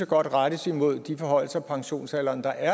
godt rettes imod de forhøjelser af pensionsalderen der